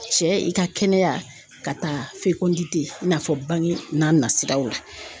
Cɛ i ka kɛnɛya ka taa i n'a fɔ bange n'a nasiraw la